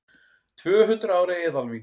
Tvöhundruð ára eðalvín